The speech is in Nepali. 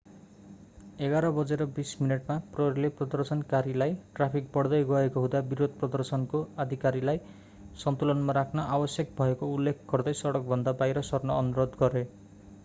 11:20 मा प्रहरीले प्रदर्शनकारीहरूलाई ट्राफिक बढ्दै गएको हुँदा विरोध-प्रदर्शनको अधिकारलाई सन्तुलनमा राख्न आवश्यक भएको उल्लेख गर्दै सडकभन्दा बाहिर सर्न अनुरोध गरे